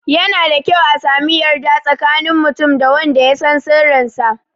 Yana da kyau a sami yarda tsakanin mutum da wanda ya san sirrin sa